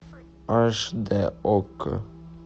аш дэ окко